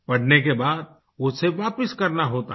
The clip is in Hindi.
पढ़ने के बाद उसे वापस करना होता है